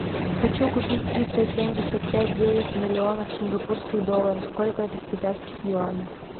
хочу купить триста семьдесят пять девять миллионов сингапурских долларов сколько это в китайских юанях